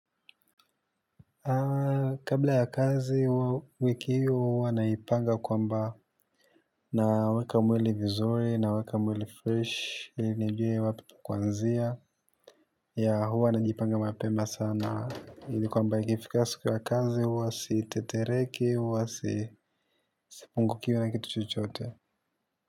Kabla ya kazi wiki hiyo wanaipanga kwamba naweka mwili vizuri naweka mwili fresh ili nijue wapi kwanzia ya huwa najipanga mapema sana ili kwamba ikifika siku ya kazi huwa sitetereke huwa sipunguki na kitu chochote.